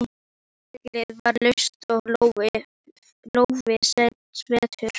En handtakið var laust og lófinn sveittur.